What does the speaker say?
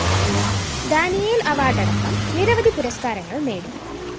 Daniel‍ award അടക്കം നിരവധി പുരസ്‌കാരങ്ങള്‍ നേടി